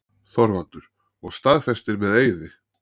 ÞORVALDUR: Og staðfestir með eiði.